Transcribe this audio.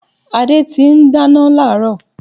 Adé ti n dáná látáárò